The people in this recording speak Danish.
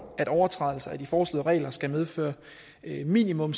at overtrædelser af de foreslåede regler skal medføre minimum